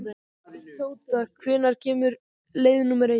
Tóta, hvenær kemur leið númer eitt?